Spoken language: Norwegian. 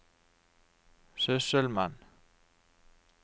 sysselmann